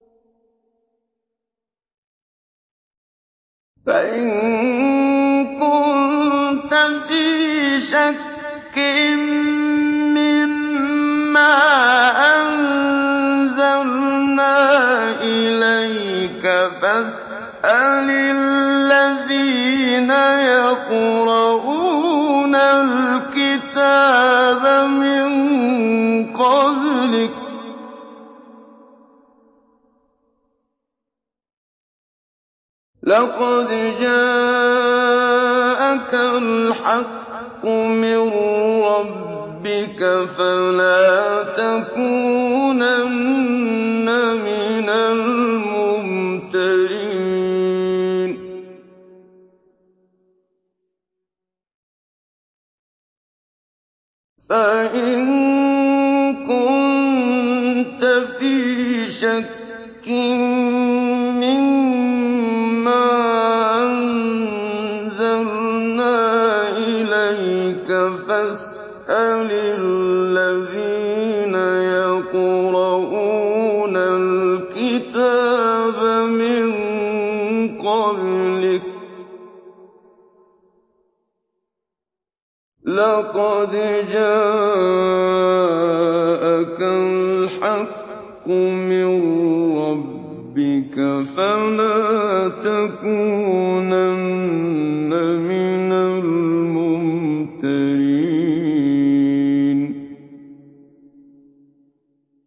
فَإِن كُنتَ فِي شَكٍّ مِّمَّا أَنزَلْنَا إِلَيْكَ فَاسْأَلِ الَّذِينَ يَقْرَءُونَ الْكِتَابَ مِن قَبْلِكَ ۚ لَقَدْ جَاءَكَ الْحَقُّ مِن رَّبِّكَ فَلَا تَكُونَنَّ مِنَ الْمُمْتَرِينَ